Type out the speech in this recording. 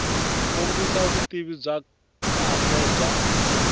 kombisa vutivi bya kahle bya